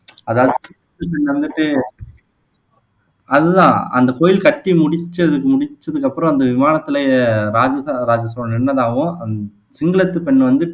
அதுதான் அந்த கோயில் கட்டி முடிச்சதுக் முடிச்சதுக்கு அப்புறம் அந்த விமானத்தில ராஜராஜ சோழன் நின்னதாகவும் அந் சிங்களத்துப் பெண் வந்துட்டு